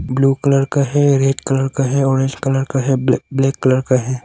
Blue colour का है red colour का है ऑरेंज कलर का है ब्लैक ब्लैक कलर का है।